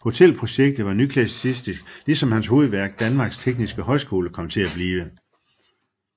Hotelprojektet var nyklassicistisk ligesom hans hovedværk Danmarks Tekniske Højskole kom til at blive